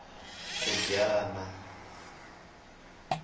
khujwana